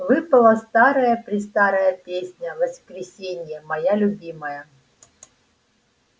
выпала старая-престарая песня воскресения моя любимая